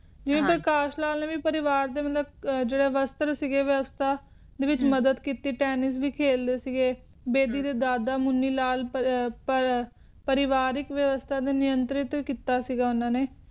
ਇੰਤਕਾਲ ਸਾਂਝੇ ਪਰਿਵਾਰ ਦੇ ਉਲਟ ਅਰਥ ਵਿਵਸਥਾ ਵਿੱਚ ਹਮ ਮਦਦ ਕੀਤੀ ਪਹਿਲੀ ਵਿਖੇ ਸ੍ਰੀ ਗੁਰੁ ਦਯਿ ਮਿਲਾਯਉ ਪਰਿਵਾਰਿਕ ਨਿਯੰਤ੍ਰਿਤ ਕੀਤਾ ਸੀ ਲਖਨਊ